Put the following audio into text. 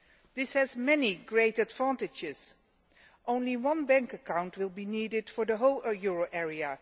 This has many great advantages only one bank account will be needed for the whole euro area.